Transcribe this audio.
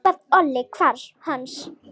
Hvað olli hvarfi hans?